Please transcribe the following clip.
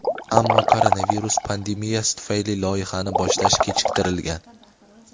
ammo koronavirus pandemiyasi tufayli loyihani boshlash kechiktirilgan.